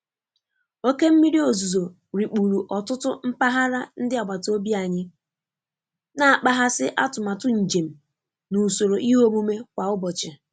Oke mmiri ozuzo rikpuru ọtụtụ mpaghara ndi agbata obi anyi, na-akpaghasị atụmatụ njem na usoro ihe omume kwa ụbọchị.